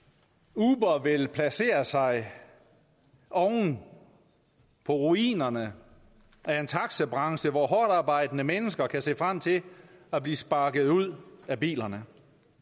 uber vil placere sig oven på ruinerne af en taxabranche hvor hårdtarbejdende mennesker kan se frem til at blive sparket ud af bilerne